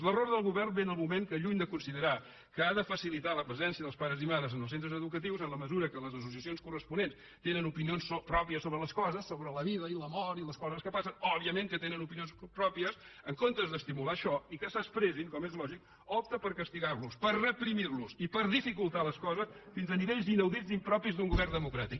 l’error del govern ve en el moment que lluny de considerar que ha de facilitar la presència dels pares i mares en els centres educatius en la mesura que les associacions corresponents tenen opinions pròpies sobre les coses sobre la vida i la mort i les coses que passen òbviament que tenen opinions pròpies en comptes d’estimular això i que s’expressin com és lògic opta per castigar los per reprimir los i per dificultar les coses fins a nivells inaudits i impropis d’un govern democràtic